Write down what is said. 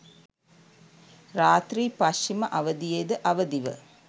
රාත්‍රී පශ්චිම අවධියෙද අවදිව